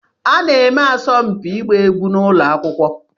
A na-eme asọmpi ịgba egwu n'ụlọ akwụkwọ.